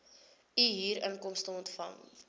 u huurinkomste ontvang